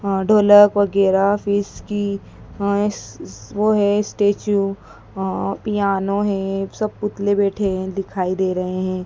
अह ढोलक वगैरा फीस की अह वो है स्टैचू अह पियानो है सब पुतले बैठे हैं दिखाई दे रहे हैं।